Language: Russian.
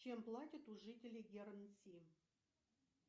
чем платят у жителей гернси